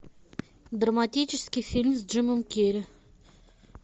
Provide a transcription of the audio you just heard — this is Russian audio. драматический фильм с джимом керри